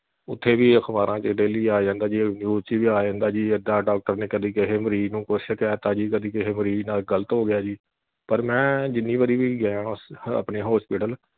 ਉਥੇ ਵੀ ਅਖਬਾਰਾਂ ਤੇ daily ਆ ਜਾਂਦਾ ਜੀ news ਵਿਚ ਵੀ ਆ ਜਾਂਦਾ ਜੀ ਇੱਦਾਂ doctor ਨੇ ਕਦੀ ਕੀਹੇ ਮਰਜੀ ਨੂੰ ਕੁਛ ਕਹਿ ਤਾਂ ਜੀ ਕਦੀ ਕਿਹੇ ਮਰਜੀ ਨਾਲ ਗਲਤ ਹੋ ਗਿਆ ਜੀ ਪਰ ਮੈਂ ਜਿੰਨੀ ਵਾਰੀ ਵੀ ਗਿਆ ਆਪਣੇ hospital